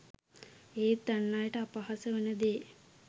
ඒත් අන් අයට අපහාස වන දේ